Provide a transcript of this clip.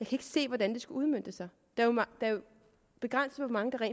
kan se hvordan det skulle udmøntes det er jo begrænset hvor mange der